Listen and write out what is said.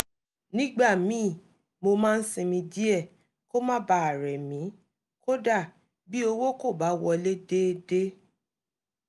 nígbà míì mo máa ń sinmi díẹ̀ kó má bàa rẹ̀ mí kódà bí owó kò bá wọlé déédé